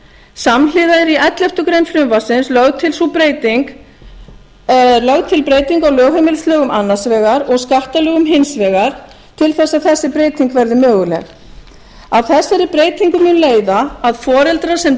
samhliða er í elleftu greinar frumvarpsins lögð til breyting á lögheimilislögum annars vegar og skattalögum hins vegar til þess að þessi breyting verði möguleg af þessari breytingu mun leiða að foreldrar sem